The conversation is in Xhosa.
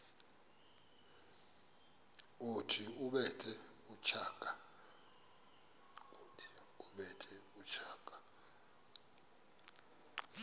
othi ubethe utshaka